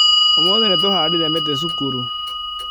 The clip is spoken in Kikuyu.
Ũmũthĩ nĩ tũhandire mĩtĩ cukuru